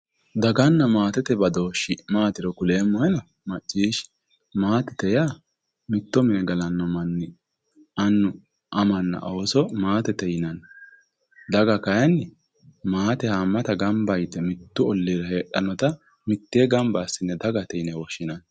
Daganna maatete badooshe maatiro kuleemmohena macciishshi. Maatete yaa mitto mine galanno manni. Annu amanna ooso maatete yinanni. Daga kaayyiinni maate haammata gamba yite mittu olliira heedhannota mittee gamba assine dagate yine woshshinnni.